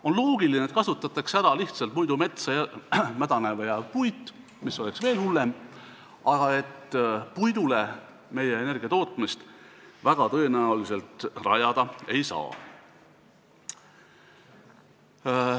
On loogiline, et kasutatakse ära muidu metsa mädanema jääv puit , aga puidule meie energiatootmist väga tõenäoliselt rajada ei saa.